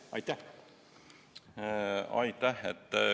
Aitäh!